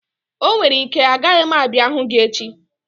Onwere ike, aga m abịa hụ gị echi